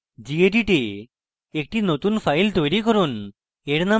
মৌলিক স্তর ruby tutorials প্রদর্শিত gedit a একটি নতুন file তৈরি করুন